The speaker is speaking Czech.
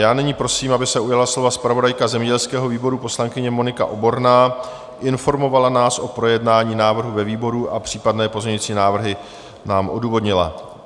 Já nyní prosím, aby se ujala slova zpravodajka zemědělského výboru, poslankyně Monika Oborná, informovala nás o projednání návrhu ve výboru a případné pozměňující návrhy nám odůvodnila.